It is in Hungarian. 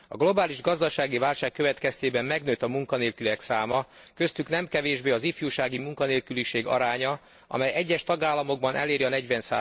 A globális gazdasági válság következtében megnőtt a munkanélküliek száma, köztük nem kevésbé az ifjúsági munkanélküliek aránya, amely egyes tagállamokban eléri a 40